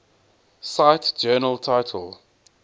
cite journal title